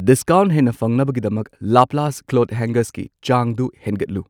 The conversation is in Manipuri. ꯗꯤꯁꯀꯥꯎꯟꯠ ꯍꯦꯟꯅ ꯐꯪꯅꯕꯒꯤꯗꯃꯛ ꯂꯥꯄ꯭ꯂꯥꯁꯠ ꯀ꯭ꯂꯣꯊ ꯍꯦꯡꯒꯔꯁꯀꯤ ꯆꯥꯡꯗꯨ ꯍꯦꯟꯒꯠꯂꯨ꯫